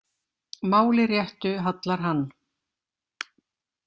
Máli réttu hallar hann,